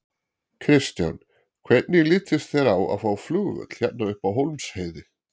Kristján: Hvernig litist þér á að fá flugvöll hérna upp á Hólmsheiði?